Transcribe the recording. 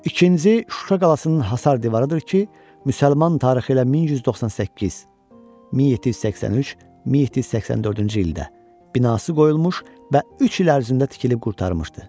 İkinci Şuşa qalasının Həsar divarıdır ki, müsəlman tarixi ilə 1198, 1783, 1784-cü ildə binası qoyulmuş və üç il ərzində tikilib qurtarmışdı.